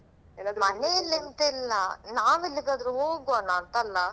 ಮನೆಯಲ್ಲಿ ಎಂತ ಇಲ್ಲಾ ನಾವ್ ಎಲ್ಲಿಗಾದ್ರೂ ಹೋಗೋಣ ಅಂತಲ್ಲಾ.